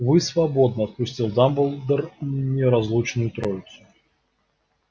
вы свободны отпустил дамблдор неразлучную троицу